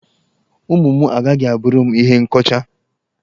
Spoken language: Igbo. Ụmụ m agaghị a bụrụ m ihe nkọcha.